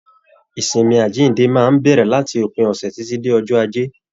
Ìsinmi àjínde máa n bẹrẹ láti òpin ọsẹ titi dé ọjọ́ ajé.